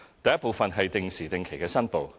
第一部分是定時定期的申報。